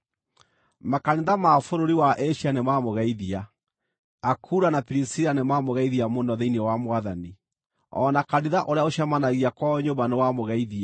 Makanitha ma bũrũri wa Asia nĩmamũgeithia. Akula na Pirisila nĩmamũgeithia mũno thĩinĩ wa Mwathani, o na kanitha ũrĩa ũcemanagia kwao nyũmba nĩwamũgeithia.